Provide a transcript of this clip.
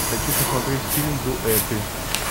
хочу посмотреть фильм дуэты